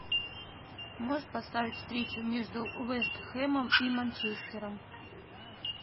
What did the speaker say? можешь поставить встречу между вест хэмом и манчестером